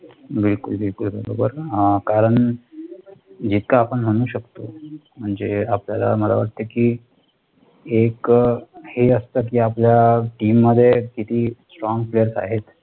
बिलकुल बिलकुल कारण जितकं आपण म्हणू शकतो म्हणजे आपल्याला, मला वाटतं कि एक हे असत कि आपल्या team मध्ये किती strong players आहेत,